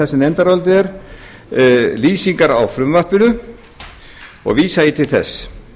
í nefndarálitinu eru lýsingar á frumvarpinu og vísa ég til þess